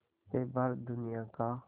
से भारत दुनिया का